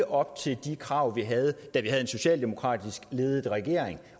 op til de krav vi havde da vi havde en socialdemokratisk ledet regering